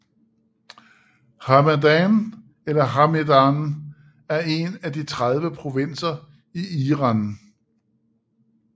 Hamadan eller Hamedan er en af de 30 provinser i Iran